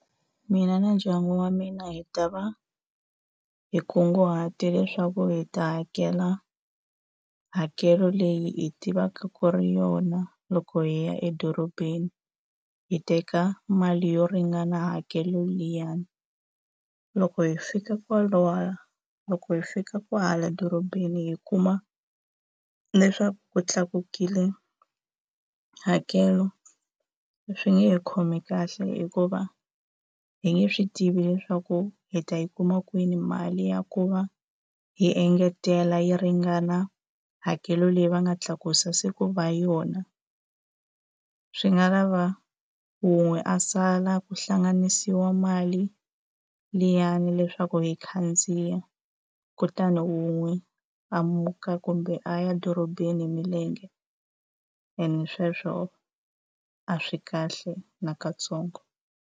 Mina na ndyangu wa mina hi ta va hi kunguhate leswaku hi ta hakela hakelo leyi hi tivaka ku ri yona loko hi ya edorobeni, hi teka mali yo ringana hakelo liyani. Loko hi fika loko hi fika kwahala dorobeni hi kuma leswaku ku tlakukile hakelo swi nge hi khomi kahle hikuva hi nge swi tivi leswaku hi ta yi kuma kwini mali ya ku va hi engetela yi ringana hakelo leyi va nga tlakusa se ku va yona. Swi nga lava wun'we a sala ku hlanganisiwa mali liyani leswaku hi khandziya kutani wun'we a muka kumbe a ya dorobeni hi milenge, ene sweswo a swi kahle na ka ntsongo.